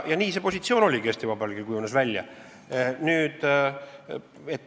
Nii see positsioon Eesti Vabariigil välja kujuneski.